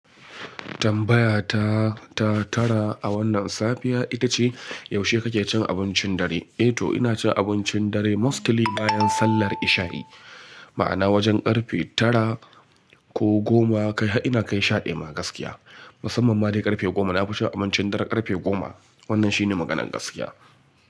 Tambaya ta, ta tara a wannan safiya ita ce, yaushe kake cin abincin dare? Eh to ina cin abincin dare mostly bayan sallar isha'i. Ma'ana wajen karfe tara ko goma, kai har ina kai sha ɗiya ma gaskiya. Musamman ma dai karfe goma na fita abincin dare karfe goma. Wannan shi ne maganar gaskiya.